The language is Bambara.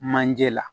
Manje la